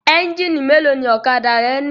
Ẹ́ńjínì mélòó ni ọ̀kadà rẹ ní?